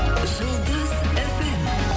жұлдыз фм